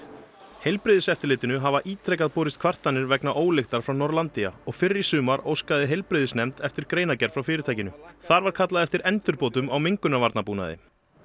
heilbrigðiseftirlitinu hafa ítrekað borist kvartanir vegna ólyktar frá Norlandia og fyrr í sumar óskaði heilbrigðisnefnd eftir greinargerð frá fyrirtækinu þar var kallað eftir endurbótum á mengunarvarnabúnaði